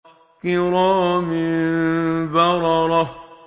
كِرَامٍ بَرَرَةٍ